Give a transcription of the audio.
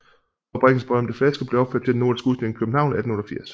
Fabrikkens berømte flaske blev opført til Den nordiske udstilling i København 1888